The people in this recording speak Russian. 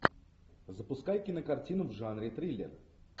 запускай кинокартину в жанре триллер